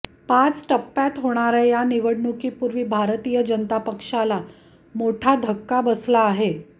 पाच टप्प्यात होणाऱ्या या निवडणुकीपूर्वी भारतीय जनता पक्षाला मोठा धक्का बसला आहे